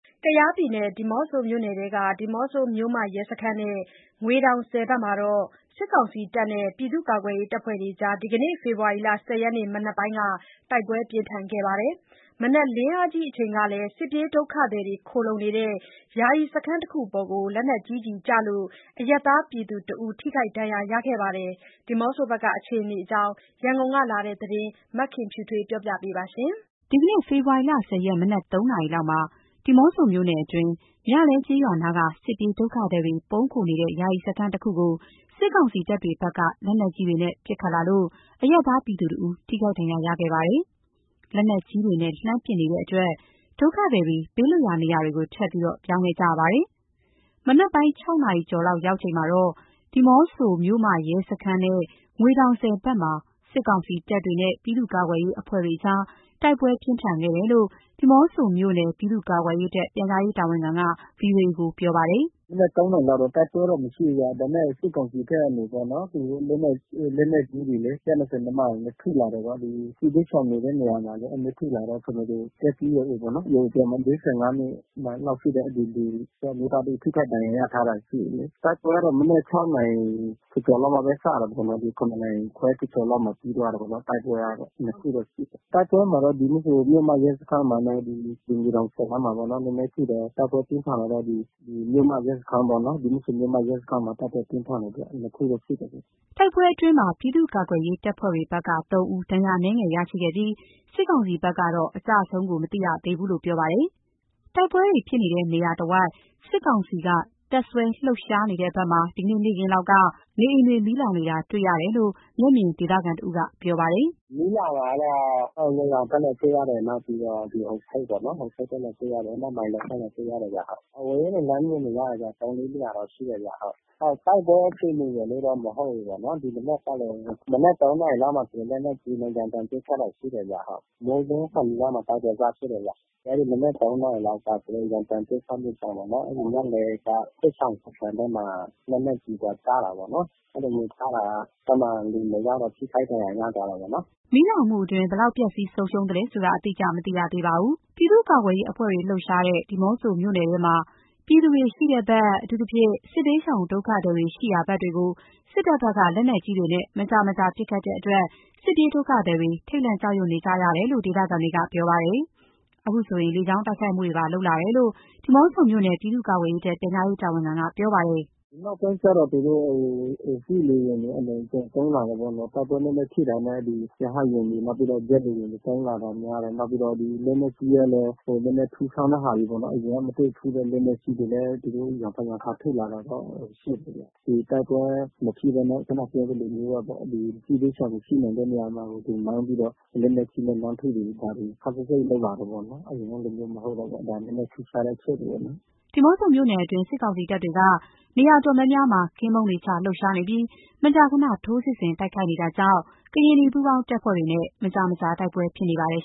ကယားပြည်နယ် ဒီးမော့ဆိုမြို့နယ်ထဲက ဒီးမော့ဆို မြို့မရဲစခန်းနဲ့ ငွေတောင်ဆည် ဘက်မှာ စစ်ကောင်စီတပ်နဲ့ ပြည်သူ့ကာကွယ်ရေးအဖွဲ့တွေ ဒီနေ့ ဖေဖော်ဝါရီ ၁၀ ရက်မနက်ပိုင်းက တိုက်ပွဲပြင်းထန်ခဲ့ပါတယ်။ မနက် လင်းအားကြီးအချိန်ကလည်း စစ်ပြေးဒုက္ခသည်တွေ ခိုလှုံနေတဲ့ ယာယီစခန်းတခုအပေါ် လက်နက်ကြီးကျည် ကျလို့ အရပ်သား ပြည်သူတဦး ထိခိုက်ဒဏ်ရာရခဲ့ပါ တယ်။ ဒီးမော့ဆိုဘက်က အခြေအနေအကြောင်း ရန်ကုန်ကလာတဲ့သတင်းကို မခင်ဖြူထွေးက တင်ပြပေးထားပါတယ်။ ဒီကနေ့ ဖေဖော်ဝါရီ ၁၀ ရက် မနက် ၃ နာရီလောက်မှာ ဒီးမော့ဆိုမြို့နယ်တွင်း၊ မြလဲကျေးရွာနားက စစ်ပြေးဒုက္ခသည်တွေ ပုန်းခိုနေတဲ့ ယာယီစခန်းတခုအပေါ် စစ်ကောင်စီတပ်တွေဘက်က လက်နက်ကြီးတွေနဲ့ ပစ်ခတ်လာလို့ အရပ်သားပြည်သူတဦး ထိခိုက်ဒဏ်ရာရခဲ့ပါတယ်။ လက်နက်ကြီးတွေနဲ့ လှမ်းပစ်နေတဲ့အတွက် ဒုက္ခသည်တွေ ဘေးလွတ်ရာနေရာတွေကို ထပ်ပြီး ပြောင်းခဲ့ကြရပါတယ်။ မနက်ပိုင်း ၆ နာရီကျော်လောက် ရောက်ချိန်မှာတော့ ဒီးမော့ဆို မြို့မရဲစခန်းနဲ့ ငွေတောင်ဆည်ဘက်မှာ စစ်ကောင်စီတပ်နဲ့ ပြည်သူ့ကာကွယ်ရေးအဖွဲ့တို့အကြား တိုက် ပွဲပြင်းထန်ခဲ့တယ်လို့ ဒီးမော့ဆိုမြို့နယ် ပြည်သူ့ကာကွယ်ရေးတပ် ပြန်ကြားရေးတာဝန်ခံက VOA ကို ပြောပါတယ်။ “မနက် ၃ နာရီလောက်တော့ တိုက်ပွဲတော့မရှိဘူးဗျ။ ဒါပေမယ့် စစ်ကောင်စီဘက် ကနေပြီးတော့ လက်နက်ကြီးတွေလေ ၁၂၀ မမနဲ့ ထုလာတယ်ပေါ့။ ဒီစစ်ဘေးရှောင်နေတဲ့ နေရာမှာလေ။ အဲ့လိုမျိုးထုလာတော့ အသက် ၄၅ နှစ်လောက်ရှိတဲ့ အမျိုးသားတဦး ထိခိုက်ဒဏ်ရာရာထားတာရှိတယ်လေး။ တိုက်ပွဲကတော့ မနက် ၆ နာရီ ကျော်ကျော်လောက်မှာပဲ စတာပေါ့၊ ၇ နာရီခွဲကျော်ကျော်လောက်မှာ ပြီးသွားတာပေါ့နော်။ တိုက်ပွဲကတော့ နှစ်ခုတော့ ရှိတယ်။ ဒီးမော့ဆို မြို့မရဲစခန်းမှာနဲ့ ငွေတောင်ဆည်နားမှာပေါ့နော် နည်းနည်းဖြစ်တယ်။ တိုက်ပွဲပြင်းထန်တာတော့ မြို့မရဲစခန်းပေါ့နော်။ ဒီးမော့ဆိုမြို့မရဲစခန်းမှာ တိုက်ပွဲပြင်းထန်တယ်ပေါ့နော်။ အဲဒီ နှစ်ခုတော့ ရှိတယ်လေး။” တိုက်ပွဲအတွင်းမှာ ပြည်သူ့ကာကွယ်ရေးတပ်ဖွဲ့ဘက်က ၃ ဦး ဒဏ်ရာအငယ်နည်း ရရှိခဲ့ပြီး စစ်ကောင်စီဘက်က အကျအဆုံးကိုတော့ မသိရသေးဘူးလို့ပြောပါတယ်။ တိုက်ပွဲတွေဖြစ်တဲ့နေရာတဝိုက် စစ်ကောင်စီက တပ်စွဲလှုပ်ရှားနေတဲ့ဘက်မှာ ဒီကနေ့ နေ့ခင်းလောက်မှာ နေအိမ်တွေမီးလောင်နေတာ တွေ့ရတယ်လို့ မျက်မြင်ဒေသခံတဦးက ပြောပါတယ်။ “မီးလောင်တာကတော့ ငွေတောင်ဘက်မှာလည်း တွေ့ရတယ်။ နောက်ပြီးတော့ ဟိုဖိတ်ပေါ့နော်။ ဟိုဖိတ်ဘက်မှာ တွေ့ရတယ်။ နောက်မိုင်းလုံဘက်မှာ တွေ့ရ တယ်ဗျ။ အဝေးကနေ လှမ်းမြင်နေရတယ်ဗျ။ ၃၊ ၄ နေရာတော့ ရှိတယ်ဗျ။ တိုက် ပွဲအခြေအနေရယ်လို့လည်း မဟုတ်ဘူးပေ့ါနော်။ ဒီမနက်ကလည်း မနက် ၃ နာရီလောက်မှာဆိုရင် လက်နက်ကြီးနဲ့ ရမ်းသမ်းပစ်ခတ်တာ ရှိတယ်ဗျ။ မိုးလင်းခါနီးလောက်မှ တိုက်ပွဲ စဖြစ်တယ်ဗျ။ အဲ့ဒီ မနက် ၃ နာရီလောက်က သူတို့ရမ်းသမ်း ပစ်ခတ်မှုကြောင့်ပေါ့နော်။ မြလဲက စစ်ရှောင်စခန်းဘက်မှာ လက်နက်ကြီးကျတာပေါ့နော်။ အဲ့လိုကျတာ။ အဲ့မှာ လူနှစ်ယောက်တော့ ထိခိုက်ဒဏ်ရာရသွားတာပေါ့နော်။” မီးလောင်မှုအတွင်း ဘယ်လောက် ပျက်စီးဆုံးရှုံးလဲဆိုတာ အတိအကျ မသိရသေးပါဘူး။ ပြည်သူ့ကာကွယ်ရေးအဖွဲ့တွေ လှုပ်ရှားတဲ့ ဒီးမော့ဆိုမြို့နယ်ထဲမှာ ပြည်သူတွေ ရှိတဲ့ဘက်၊ အထူးသဖြင့် စစ်ဘေးရှောင်ဒုက္ခသည်တွေ ရှိရာဘက်တွေကိုလည်း စစ်တပ်ဘက်က လက်နက်ကြီးတွေနဲ့ မကြာမကြာ ပစ်ခတ်တဲ့အတွက် စစ်ပြေးဒုက္ခသည်တွေ ထိတ်လန့်ကြောက်ရွံ့နေကြတယ်လို့ ဒေသခံတွေက ပြောပါတယ်။ အခုဆို လေကြောင်းတိုက်ခိုက်မှုတွေပါ လုပ်လာတယ်လို့ ဒီးမော့ဆိုမြို့ နယ် ပြည်သူ့ကာကွယ်ရေးတပ် ပြန်ကြားရေးတာဝန်ခံက ပြောပါတယ်။ “ဒီနောက်ပိုင်းကျတော့ သူတို့ စစ်လေယာဉ်တွေ အလွန်အကျွံသုံးလာတယ်ပေါ့နော်။ တိုက်ပွဲနည်းနည်းဖြစ်တာနဲ့ ရဟတ်ယာဉ်တွေ၊ နောက်ပြီးတော့ ဂျက်လေယာဉ်တွေ သုံးလာတာများတယ်။ နောက်ပြီးတော့ လက်နက်ကြီးလည်း နည်းနည်း ထုထောင်းတဲ့ဟာတွေပေါ့နော်။ အရင်ကမတွေ့ဖူးတဲ့ လက်နက်ကြီးတွေလည်း သူတို့ရံဖန်ရံခါ ထုလာတာတော့ ရှိတယ်ဗျ။ ဒီတိုက်ပွဲမဖြစ်ဘဲနဲ့ ခုနပြောသလိုမျိုးဘဲပေါ့-စစ်ဘေးရှောင်တွေ ရှိနိုင်တဲ့နေရာမှာ မှန်းပြီးတော့ လက်နက်ကြီးနဲ့ လှမ်းထုတာတွေ ခပ်စိတ်စိတ်လုပ်လာတယ်ပေါ့နော်။ အရင်ကလိုမျိုးမဟုတ်တော့ဘူးပေါ့။ ဒါနည်းနည်းထူးခြားတဲ့ အချက်တွေပေါ့နော်။” ဒီးမော့ဆိုမြို့နယ်အတွင်း စစ်ကောင်စီတပ်တွေက နေရာတော်တော်များများမှာ ကင်းပုန်းတွေချ လှုပ်ရှားနေပြီး မကြာခဏ ထိုးစစ်ဆင် တိုက်ခိုက်နေတာကြောင့် ကရင်နီပူးပေါင်းတပ်ဖွဲ့တွေနဲ့ မကြာမကြာ တိုက်ပွဲဖြစ်နေပါတယ်